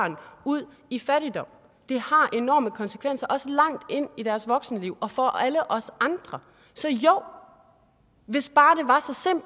ud i fattigdom det har enorme konsekvenser også langt ind i deres voksenliv og for alle os andre så jo hvis bare